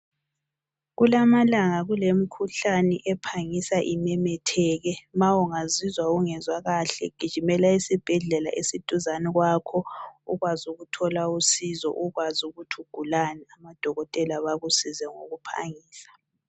Kulamalanga kulemkhuhlane ephangisa imemetheke. Ma ungazizwa ungezwa kahle gijimela esibhedlela esiduzane kwakho ukwazi ukuthola usizo, ukwazi ukuthi ugulani amadokotela bakusize ngokuphangisa.